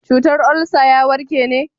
cutar olsa ya warke ne